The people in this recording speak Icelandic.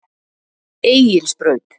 Egilsbraut